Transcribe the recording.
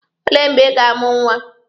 Olee mgbe Ị ga-amụ nwa?